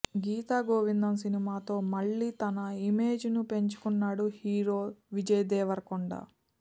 గీత గోవిందం సినిమాతో మళ్లీ తన ఇమేజ్ ను పెంచుకున్నాడు హీరో విజయ్ దేవరకొండ